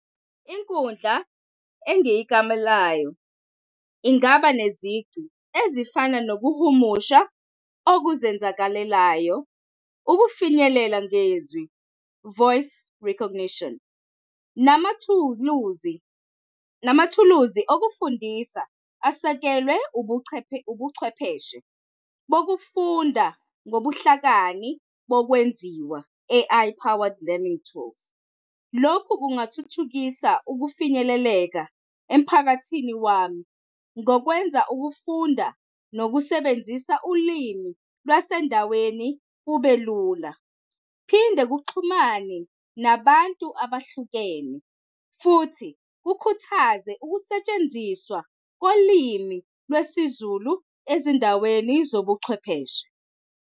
Inkundla engiyikamelayo ingaba nezici ezifana nokuhumusha obuzenzakalelayo ukufinyelela ngezwi, voice recognition, namathuluzi, namathuluzi okufundisa asekelwe ubuchwepheshe, ubuchwepheshe bokufunda ngobuhlakani bokwenziwa, A_I powered learning tools. Lokhu kungathuthukisa ukufinyeleleka emphakathini wami ngokwenza ukufunda nokusebenzisa ulimi lwasendaweni kube lula, phinde kuxhumane nabantu abahlukene, futhi kukhuthaze ukusetshenziswa kolimi lwesiZulu ezindaweni zobuchwepheshe.